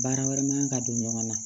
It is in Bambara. Baara wɛrɛ man ka don ɲɔgɔn na